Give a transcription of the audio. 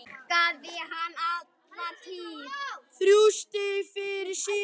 Þrjú stig fyrir sigur